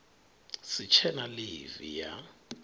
si tshe na ḽivi ya